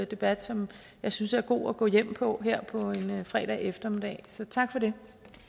debat som jeg synes er god at gå hjem på her på en fredag eftermiddag så tak for det